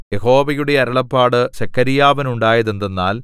യഹോവയുടെ അരുളപ്പാട് സെഖര്യാവിനുണ്ടായതെന്തെന്നാൽ